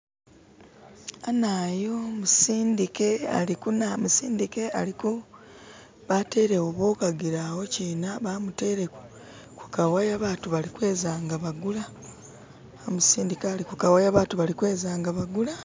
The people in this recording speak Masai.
Anayu musindike alikuna musindike aliku... Batelewo boshagilawo bamutele kukawaya abantu balikweza nga bagula. Musindike alikukawaya abantu balikweza nga bagula.